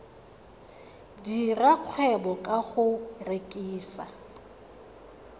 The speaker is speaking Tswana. dira kgwebo ka go rekisa